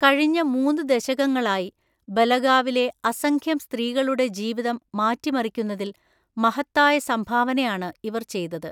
കഴിഞ്ഞ മൂന്നു ദശകങ്ങളായി ബലഗാവിലെ അസംഖ്യം സ്ത്രീകളുടെ ജീവിതം മാറ്റിമറിക്കുന്നതില്‍ മഹത്തായ സംഭാവനയാണ് ഇവര്‍ ചെയ്തത്.